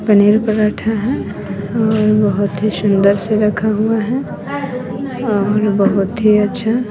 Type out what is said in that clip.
पनीर पराठा है और बहोत ही सुंदर से रखा हुआ है और बहोत ही अच्छा--